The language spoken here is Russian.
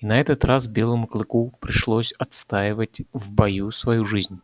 и на этот раз белому клыку пришлось отстаивать в бою свою жизнь